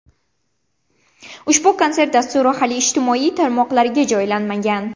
Ushbu konsert dasturi hali ijtimoiy tarmoqlarga joylanmagan.